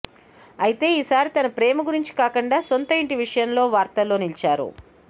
అయితే ఈ సారి తన ప్రేమ గురించి కాకుండా సొంత ఇంటి విషయంలో వార్తల్లో నిలిచారు